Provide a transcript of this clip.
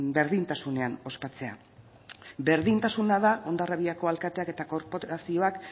berdintasunean ospatzea berdintasuna da hondarribiako alkateak eta korporazioak